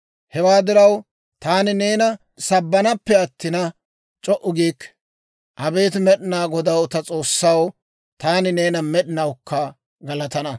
Hewaa diraw, taani neena sabbanaappe attina, c'o"u giikke. Abeet Med'inaa Godaw ta S'oossaw, taani neena med'inawukka galatana.